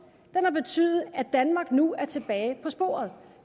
har betydet at danmark nu er tilbage på sporet